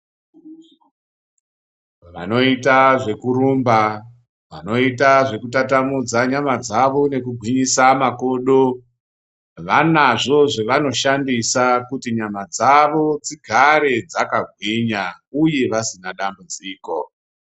Vanoita zvekrumba vanoita zvekutamutamudza nyama dzavonekugwinyisa makodo vane zvozvavano shandisa kuti nyama dzavo dzigare dzakagwinya uye vasina dambudziko.